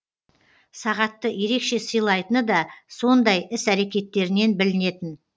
сағатты ерекше сыйлайтыны да сондай іс әрекеттерінен білінетін